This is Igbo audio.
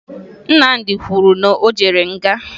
Nnamdị kwuru na o jere nga